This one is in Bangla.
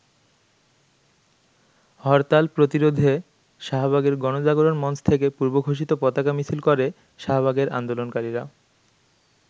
হরতাল প্রতিরোধে শাহবাগের গণজাগরণ মঞ্চ থেকে পূর্বঘোষিত পতাকা মিছিল করে শাহবাগের আন্দোলনকারীরা।